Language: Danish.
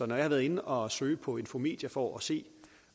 når jeg har været inde og søge på infomedia for at se